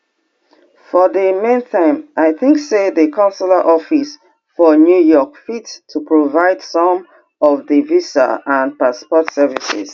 for di meantime i tink say di consular office for new york fit to provide some of di visa and passport services